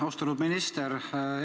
Austatud minister!